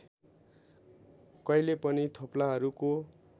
कहिल्यै पनि थोप्लाहरूको